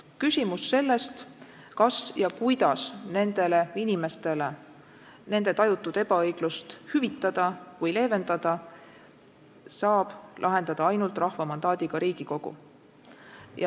Küsimuse sellest, kuidas ja kas üldse nendele inimestele nende tajutud ebaõiglust hüvitada või leevendada, saab lahendada ainult rahva mandaadiga Riigikogu.